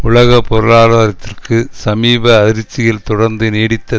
உலக பொருளாதாரத்திற்கு சமீப அதிர்ச்சிகள் தொடர்ந்து நீடித்த